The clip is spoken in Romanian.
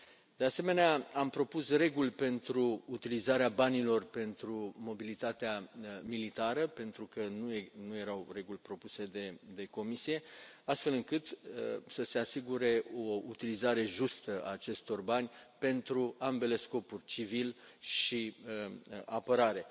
De asemenea, am propus reguli pentru utilizarea banilor pentru mobilitatea militară, pentru că nu erau reguli propuse de Comisie, astfel încât să se asigure o utilizare justă a acestor bani pentru ambele scopuri civil și apărare.